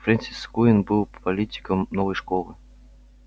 фрэнсис куинн был политиком новой школы